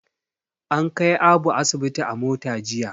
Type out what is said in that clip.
An kai Abu asibi a mota jiya.